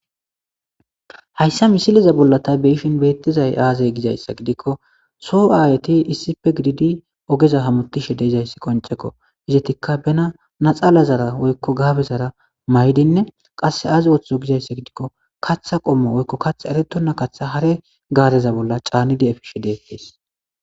Hayssa misileza bolla tha be7ishin beeththiza aazee gisayssa gidikko soo aayethi issipe gididi ogeza hamoththishe de7izayssi qonccekoo; izethikka bana naxalazara woykko gaabezara maayidinne qassi aaze woththido gizayssa gidikko kaththa qommo woykko kaththa ereththonna kaththa hare gaareza bolla caanide efishe deeththes.